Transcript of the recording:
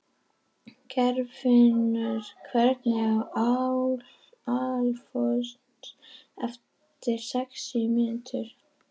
Geirfinnur, hringdu í Alfons eftir sex mínútur.